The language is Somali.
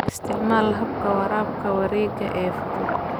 Isticmaal habka waraabka wareega ee fudud.